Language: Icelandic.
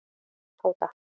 Tóta